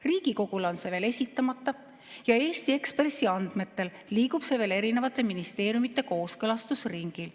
Riigikogule on see veel esitamata ja Eesti Ekspressi andmetel liigub see erinevates ministeeriumides kooskõlastusringil.